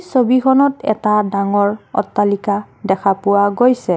ছবিখনত এটা ডাঙৰ অট্টালিকা দেখা পোৱা গৈছে।